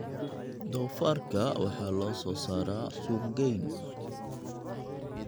Doofaarka waxaa loo soo saaraa suuqgeyn.